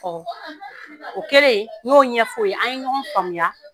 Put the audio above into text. Ɔ o kɛlen n'o ɲɛfɔ ye an ye ɲɔgɔn faamuya